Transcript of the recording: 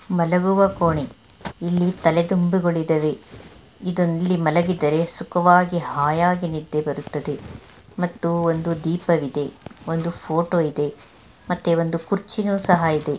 ಮಲಗುವ ಕೋಣೆ ಇಲ್ಲಿ ತಲೆ ದಿಂಬುಗಳು ಇದವೆ ಇದು ಇಲ್ಲಿ ಮಲಗಿದರೆ ಸುಖವಾಗಿ ಹಾಯಾಗಿ ನಿದ್ದೆ ಬರುತ್ತೆದೆ ಮತ್ತು ಒಂದು ದೀಪವಿದೆ ಒಂದು ಫೋಟೋ ಇದೆ ಮತ್ತೆ ಒಂದು ಕುರ್ಚಿ ನು ಸಹ ಇದೆ.